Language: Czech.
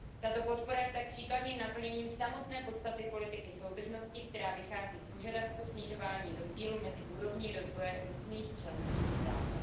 Tato podpora je tak příkladným naplněním samotné podstaty politiky soudržnosti, která vychází z požadavku snižování rozdílu mezi úrovní rozvoje různých členských států.